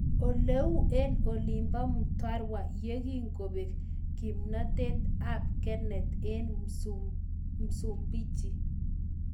Oleu eng olinboo Mtwara yekingopek kimnatet ap Kenneth eng Msumbiji